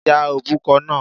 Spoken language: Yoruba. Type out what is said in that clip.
Ya òbúkọ náà.